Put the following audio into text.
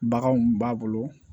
Baganw b'a bolo